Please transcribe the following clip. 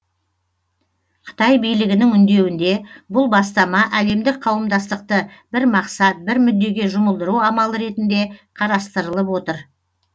қытай билігінің үндеуінде бұл бастама әлемдік қауымдастықты бір мақсат бір мүддеге жұмылдыру амалы ретінде қарастырылып отыр